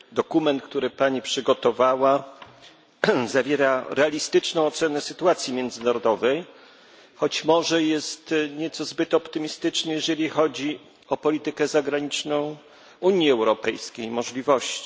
Dokument, który Pani przygotowała zawiera realistyczną ocenę sytuacji międzynarodowej, choć może jest nieco zbyt optymistyczny, jeżeli chodzi o politykę zagraniczną Unii Europejskiej i jej możliwości.